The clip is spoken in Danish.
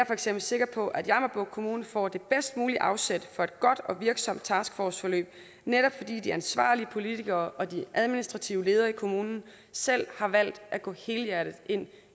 for eksempel sikker på at jammerbugt kommune får det bedst mulige afsæt for et godt og virksomt taskforceforløb netop fordi de ansvarlige politikere og de administrative ledere i kommunen selv har valgt at gå helhjertet ind